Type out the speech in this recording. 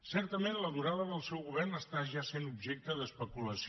certament la durada del seu govern és ja objecte d’especulació